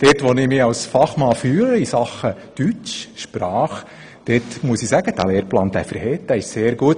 Ich kann dort, wo ich mich als Fachmann fühle – nämlich in Sachen Deutsch, Sprache – sagen, dass der Lehrplan 21 sehr gut ist und «verhet».